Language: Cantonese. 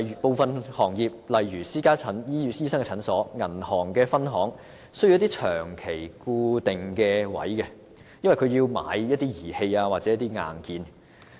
部分行業如私家診所、銀行分行需要一些長期固定鋪位，因為他們需要購買一些儀器或硬件。